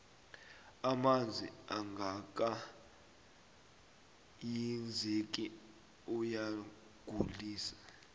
amanzi angaka hinzeki ayagulise